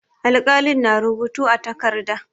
Alƙalin na rubutu a takarda.